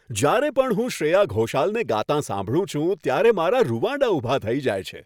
જ્યારે પણ હું શ્રેયા ઘોષાલને ગાતાં સાંભળું છું, ત્યારે મારાં રૂંવાડાં ઊભાં થઈ જાય છે.